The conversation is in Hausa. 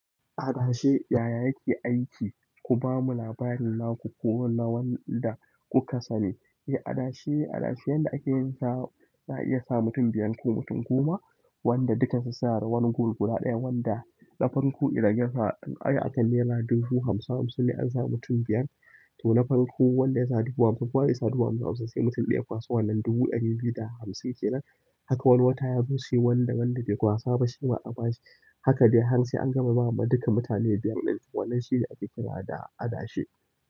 Adashe yaya yake aiki? Ku ba mu labarin naku ko na wanda kuka sani. Eh, adashe, adashe yanda ake yin sa za iya sa mutum biyar ko mutum goma wanda dukan su sa ra wani gur guda ɗaya wanda na farko idan ya sa akan nera dubu hamsin hamsin ne an sa mutum biyar. To na farko wanda ya sa dubu hamsin kowa zai sa dubu hamsin sai mutum ɗaya ya kwaso wannan dubu ɗari biyu da hamsin kenan. Haka wani wata ya zo shi wanda wanda be kwasa ba shi ma a ba shi. Haka dai har sai an gama ba ma duka mutane biyar ɗinnan, wannan shine ake kira da adashe.